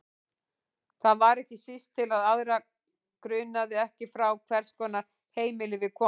Það var ekki síst til að aðra grunaði ekki frá hvers konar heimili við komum.